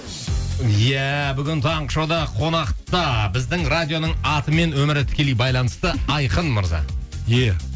иә бүгін таңғы шоуда қонақта біздің радионың атымен өмірі тікелей байланысты айқын мырза е